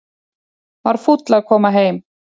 Var fúll að koma heim